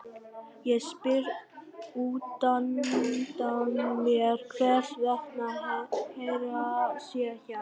Ég spyr útundan mér hvers vegna Hera sé hjá Garðari.